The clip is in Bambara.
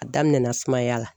A daminɛna sumaya la